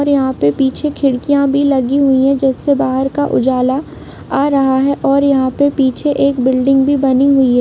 और यहाँ पर पीछे खिड़कियाँ भी लगी हुई है जिससे बाहर का उजाला आ रहा है और पीछे एक बिल्डिंग भी बनी हुई है।